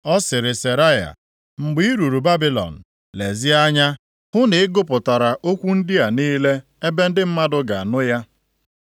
Ọ sịrị Seraya, “Mgbe i ruru Babilọn, lezie anya hụ na ị gụpụtara okwu ndị a niile ebe ndị mmadụ ga-anụ ya.